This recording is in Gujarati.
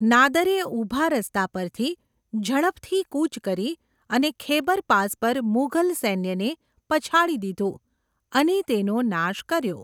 નાદરે ઊભા રસ્તા પરથી ઝડપથી કૂચ કરી અને ખૈબર પાસ પર મુઘલ સૈન્યને પછાડી દીધું અને તેનો નાશ કર્યો.